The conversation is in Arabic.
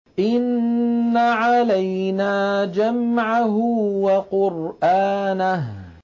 إِنَّ عَلَيْنَا جَمْعَهُ وَقُرْآنَهُ